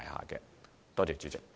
多謝代理主席。